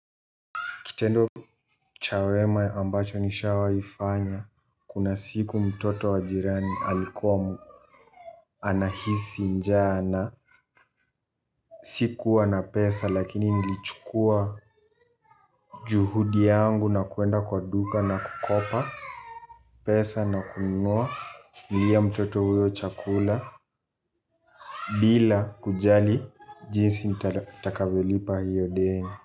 Kitendo cha wema ambacho nishawahi fanya kuna siku mtoto wa jirani alikuwa anahisi njaa na sikuwa na pesa lakini nilichukuwa juhudi yangu na kuenda kwa duka na kukopa pesa na kununulia mtoto huyo chakula bila kujali jinsi nitakavyo lipa hiyo deni.